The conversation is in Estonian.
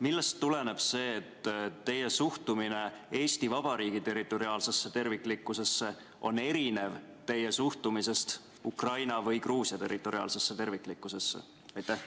Millest tuleneb see, et teie suhtumine Eesti Vabariigi territoriaalsesse terviklikkusesse on erinev teie suhtumisest Ukraina või Gruusia territoriaalsesse terviklikkusesse?